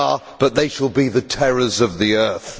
but they shall be the Terrors of the earth'.